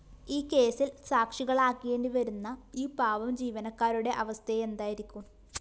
ഈ കേസില്‍ സാക്ഷികളാകേണ്ടിവരുന്ന ഈ പാവം ജീവനക്കാരുടെ അവസ്ഥയെന്തായിരിക്കും